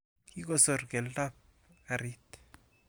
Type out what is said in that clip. Kikosor keldoab karit.